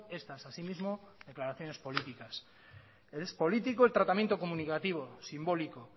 estas así mismo declaraciones políticas es político el tratamiento comunicativo simbólico